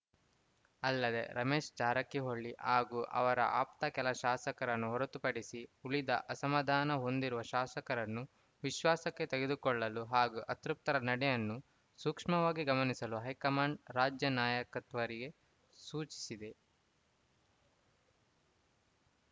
ಅಲ್ಲದೆ ರಮೇಶ್‌ ಜಾರಕಿಹೊಳ್ಳಿ ಹಾಗೂ ಅವರ ಆಪ್ತ ಕೆಲ ಶಾಸಕರನ್ನು ಹೊರತುಪಡಿಸಿ ಉಳಿದ ಅಸಮಾಧಾನ ಹೊಂದಿರುವ ಶಾಸಕರನ್ನು ವಿಶ್ವಾಸಕ್ಕೆ ತೆಗೆದುಕೊಳ್ಳಲು ಹಾಗೂ ಅತೃಪ್ತರ ನಡೆಯನ್ನು ಸೂಕ್ಷ್ಮವಾಗಿ ಗಮನಿಸಲು ಹೈಕಮಾಂಡ್‌ ರಾಜ್ಯ ನಾಯಕತ್ವರಿಗೆ ಸೂಚಿಸಿದೆ